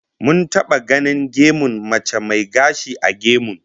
Mun taba ganin gemun mace mai gashi a gemun